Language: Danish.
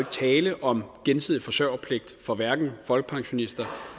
tale om gensidig forsørgerpligt for hverken folkepensionister